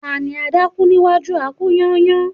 Ta ni adákú níwájú a-kú-yányán